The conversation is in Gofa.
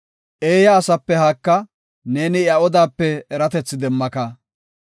Eeya asape haaka; neeni iya odape eratethi demmaka.